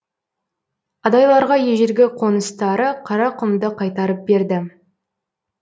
адайларға ежелгі қоныстары қарақұмды қайтарып берді